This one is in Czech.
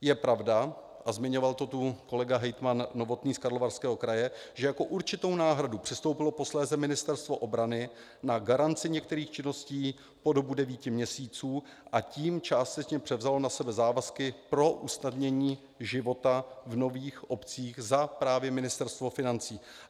Je pravda, a zmiňoval to tu kolega hejtman Novotný z Karlovarského kraje, že jako určitou náhradu přistoupilo posléze Ministerstvo obrany na garanci některých činností po dobu devíti měsíců, a tím částečně převzalo na sebe závazky pro usnadnění života v nových obcích za právě Ministerstvo financí.